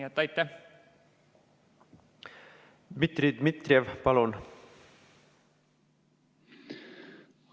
Dmitri Dmitrijev, palun!